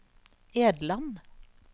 Edland